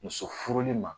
Muso furuli ma